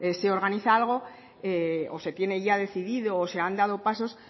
se organiza algo o se tiene ya decidido o se han dado pasos